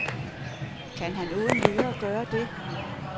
Kan han uden videre gøre det?